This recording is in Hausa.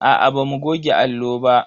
Aa bamu goge allo ba.